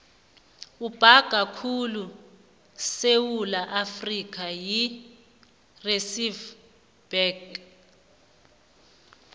ibhanka ekhulu yesewula afrika yi reserve bank